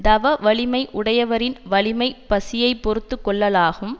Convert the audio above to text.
தவ வலிமை உடையவரின் வலிமை பசியை பொறுத்து கொள்ளலாகும்